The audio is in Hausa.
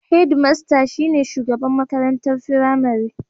Hedmasta shi ne shugaban makarantar firamare.